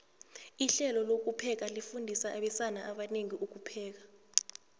ihlelo lokupheka lifundisa abesana abanengi ukupheka